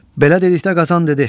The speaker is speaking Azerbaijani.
Belə dedikdə Qazan dedi: